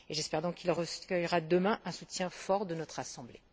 J'espère donc qu'il recueillera demain un soutien fort de notre assemblée.